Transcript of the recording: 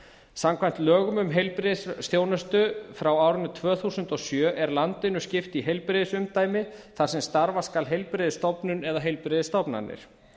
samkvæmt lögum um heilbrigðisþjónustu frá árinu tvö þúsund og sjö er landinu skipt í heilbrigðisumdæmi þar sem starfa skal heilbrigðisstofnun eða heilbrigðisstofnanir